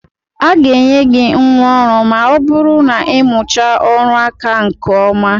A ga-enye gị ngwa ọrụ ma ọ bụrụ na ị mụchaa ọrụ aka a nke ọma.